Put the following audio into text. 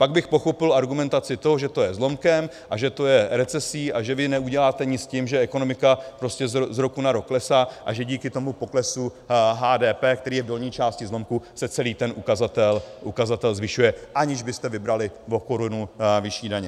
Pak bych pochopil argumentaci toho, že to je zlomkem a že to je recesí a že vy neuděláte nic s tím, že ekonomika prostě z roku na rok klesá a že díky tomu poklesu HDP, který je v dolní části zlomku, se celý ten ukazatel zvyšuje, aniž byste vybrali o korunu vyšší daně.